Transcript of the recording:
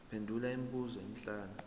phendula imibuzo emihlanu